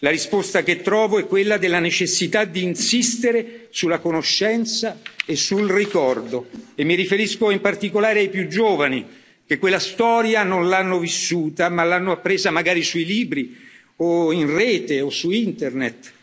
fa. La risposta che trovo è quella della necessità di insistere sulla conoscenza e sul ricordo e mi riferisco, in particolare, ai più giovani che quella storia non l'hanno vissuta, ma l'hanno appresa magari sui libri o in rete o su internet.